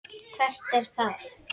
Hvert er það?